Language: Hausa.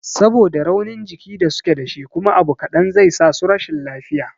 Saboda raunin jiki da suke dashi kuma abu kaɗan zai sasu rashin lafiya